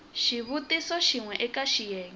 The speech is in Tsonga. xivutiso xin we eka xiyenge